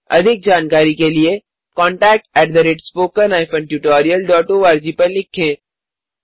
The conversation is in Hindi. अधिक जानकारी के लिए contactspoken tutorialorg पर लिखें